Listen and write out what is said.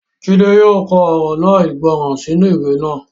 Jídé yóò kọ ọ̀rọ̀ náà ìgbọràn sínú ìwé náà